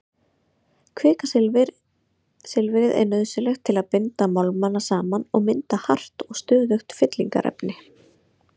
Kvikasilfrið er nauðsynlegt til að binda málmana saman og mynda hart og stöðugt fyllingarefni.